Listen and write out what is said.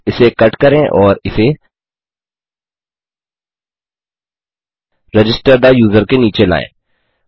इसे कट करें और इसे रजिस्टर थे यूजर के नीचे लायें